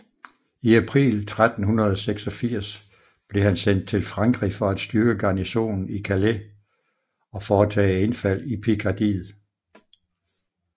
I april 1386 blev han sendt til Frankrig for at styrke garnisonen i Calais og foretage indfald i Pikardiet